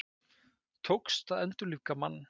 Tókst að endurlífga mann